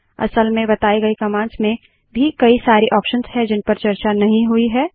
असल में बताए गए कमांड्स में भी कई सारे ऑप्शंस हैं जिनपर चर्चा नहीं हुई है